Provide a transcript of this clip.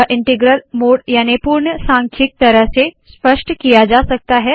यह integral mode याने पूर्ण सांख्यिक तरह से स्पष्ट किया जा सकता है